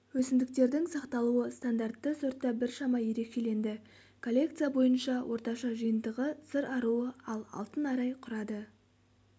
өсімдіктердің сақталуы стандартты сортта біршама ерекшеленді коллекция бойынша орташа жиынтығы сыр аруы ал алтын арай құрады